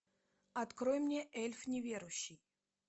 открой мне эльф неверующий